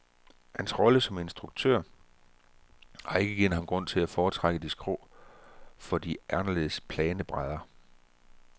Hans rolle som instruktør har ikke givet ham grund til at foretrække de skrå for de aldeles plane brædder.